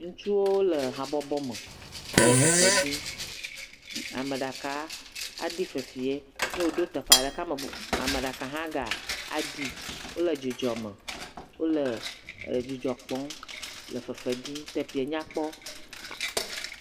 Ŋutsuwo le habɔbɔ me, wole fefe ɖim, ame ɖeka aɖi fefee nɔ woɖo teƒe aɖe la, ke ameb..ame ɖeka aɖi wole dzidzɔ kpɔm le fefe ɖim teƒee nya kpɔ.